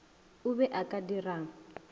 o be o ka dirang